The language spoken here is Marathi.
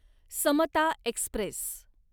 समता एक्स्प्रेस